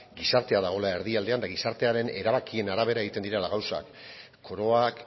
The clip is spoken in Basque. gizartea dagoela erdialdean eta gizartearen erabakien arabera egiten direla gauzak koroak